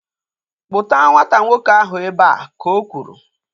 Kpụta nwata nwoke ahu ebea! Ka o kwuru